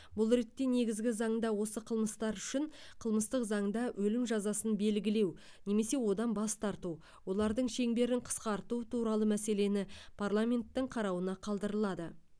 бұл ретте негізгі заңда осы қылмыстар үшін қылмыстық заңда өлім жазасын белгілеу немесе одан бас тарту олардың шеңберін қысқарту туралы мәселені парламенттің қарауына қалдырылады